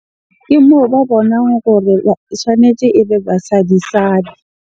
Ke moo ba bonang gore e tshwanetse ebe basadi-sadi.